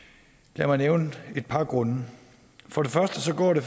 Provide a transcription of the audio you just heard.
lad mig nævne et par grunde for det første går det